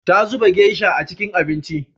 Ta zuba geisha a cikin abincin.